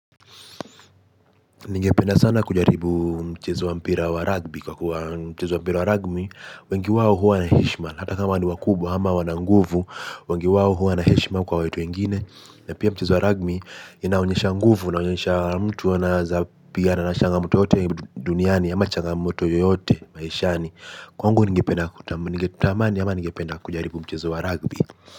Ningependa sana kujaribu mchezo wa mpira wa rugby. Kwa kuwa mchezo wa mpira wa rugby wengi wao huwa na heshima hata kama ni wakubwa ama wana nguvu wengi wawo huwa na heshima kwa watu wengine. Na pia mchezo wa rugby inaonyesha nguvu inainyesha mtu anawezapigana na changamoto yoyote duniani ama changamoto yoyote maishani. Kwangu ningependa kutamani ama ningependa kujaribu mchezo wa rugby.